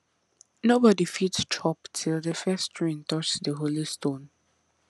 nobody fit chop till the first rain touch the holy stone